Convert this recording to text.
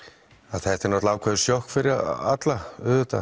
þetta er náttúrulega ákveðið sjokk fyrir alla